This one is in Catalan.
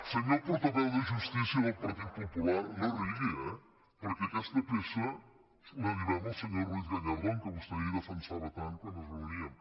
senyor portaveu de justícia del partit popular no ri·gui eh perquè aquesta peça la devem al senyor ruiz gallardón que vostè ahir defensava tant quan ens reuníem